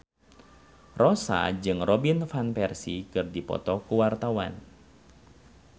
Rossa jeung Robin Van Persie keur dipoto ku wartawan